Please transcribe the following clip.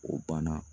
O banna